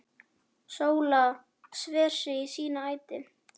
Og Sóla sver sig í sína ætt.